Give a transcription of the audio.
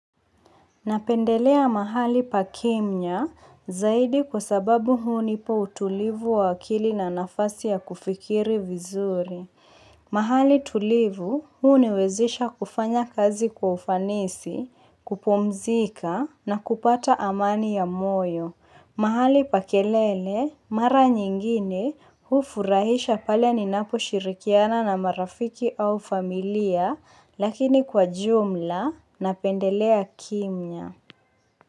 Napendelea mahali pa kimya zaidi kwa sababu huni pa utulivu wa akili na nafasi ya kufikiri vizuri. Mahali tulivu huni wezesha kufanya kazi kwa ufanisi, kupumzika na kupata amani ya moyo. Mahali pa kelele, mara nyingine hufurahisha pale ninaposhirikiana na marafiki au familia lakini kwa jumla napendelea kimya.